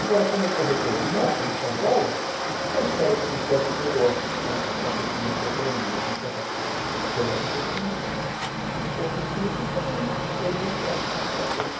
Agora, como corretor de imóvel em São Paulo, eu espero que com tantos negócios, com o aquecimento da economia, com tanta coisa acontecendo, se for possível também ter o meu espaço daqui para frente.